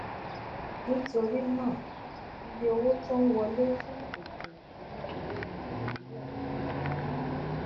nítorí náà iye owó tó ń wọlé fún ètò ìṣúnná owó nàìjíríà kéré gan